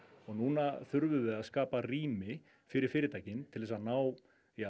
og núna þurfum við að skapa rými fyrir fyrirtækin til þess að ná